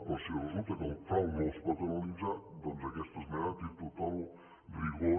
però si resulta que el frau no es pot analitzar doncs aquesta esmena té tot el rigor